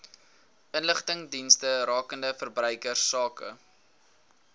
inligtingsdienste rakende verbruikersake